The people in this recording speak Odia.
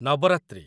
ନବରାତ୍ରି